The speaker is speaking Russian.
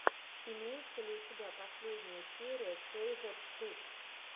имеется ли у тебя последняя серия кейзет туб